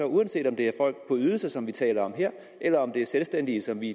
uanset om det er folk på de ydelser som vi taler om her eller om det er selvstændige som vi